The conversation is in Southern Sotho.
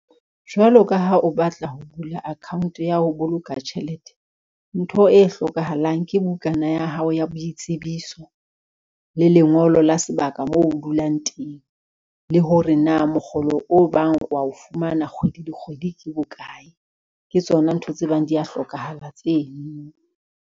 Jwalo ka ha o batla ho bula account ya ho boloka tjhelete, ntho e hlokahalang ke bukana ya hao ya boitsebiso, le lengolo la sebaka ka moo o dulang teng, le hore na mokgolo o bang wa o fumana kgwedi le kgwedi ke bokae, ke tsona ntho tse bang di ya hlokahala tsenono.